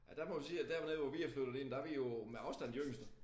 Ja der må vi sige at dernede hvor vi er flyttet ind der vi jo med afstand de yngste